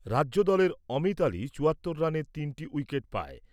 রাজ্যদলের অমিত আলী চুয়াত্তর রানে তিনটি উইকেট পায়।